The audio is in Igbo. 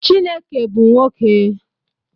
Chineke bu nwoke.